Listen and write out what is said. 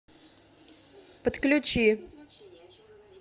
подключи